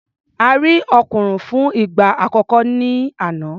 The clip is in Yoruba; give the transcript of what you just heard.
A rí òkùnrùn fún ìgbà àkọ́kọ́ ní àná.